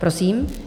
Prosím.